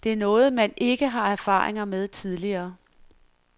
Det er noget man ikke har erfaringer med tidligere.